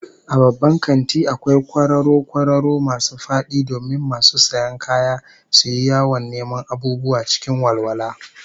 A babban kanti akwai kwararo kwararo masu fadi domin masu sayan kaya suyi yawon neman abubuwa cikin walwala